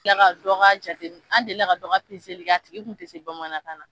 Kila ka dɔn jate an deli ka dɔ ka kɛ a tigi tun tɛ se bamanankan na.